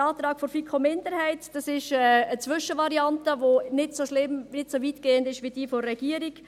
Der Antrag der FiKo-Minderheit ist eine Zwischenvariante, welche nicht so schlimm, nicht so weitgehend ist, wie derjenige der Regierung.